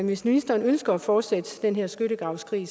hvis ministeren ønsker at fortsætte den her skyttegravskrig